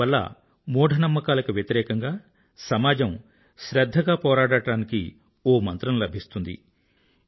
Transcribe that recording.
వీటి వల్ల మూఢ నమ్మకాలకు వ్యతిరేకంగా సమాజం శ్రధ్ధగా పోరాడటానికో మంత్రం లభిస్తుంది